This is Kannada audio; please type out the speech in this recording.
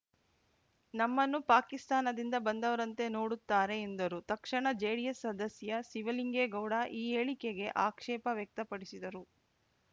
ನಮ್ಮನ್ನು ಪಾಕಿಸ್ತಾನದಿಂದ ಬಂದವರಂತೆ ನೋಡುತ್ತಾರೆ ಎಂದರು ತಕ್ಷಣ ಜೆಡಿಎಸ್‌ ಸದಸ್ಯ ಶಿವಲಿಂಗೇಗೌಡ ಈ ಹೇಳಿಕೆಗೆ ಅಕ್ಷೇಪ ವ್ಯಕ್ತಪಡಿಸಿದರು